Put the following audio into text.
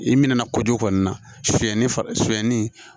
I minɛn na kojugu kɔni na soni fayɛni